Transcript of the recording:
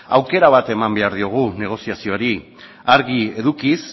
aukera bat eman behar diogu negoziazioari argi edukiz